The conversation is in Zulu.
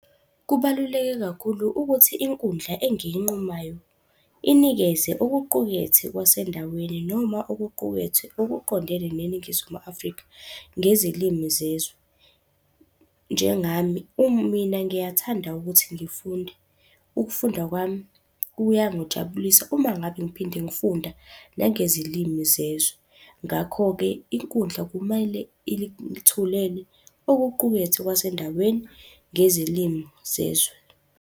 Kubaluleke kakhulu ukuthi inkundla engiyinqumayo inikeze okuqukethe kwasendaweni noma okuqukethwe okuqondene neNingizimu Afrika ngezilimi zezwe. Njengami mina ngiyathanda ukuthi ngifunde, ukufunda kwami kuyangijabulisa uma ngabe ngiphinde ngifunda nangezilimi zezwe. Ngakho-ke, inkundla kumele ilithulele okuqukethwe kwasendaweni ngezilimi zezwe.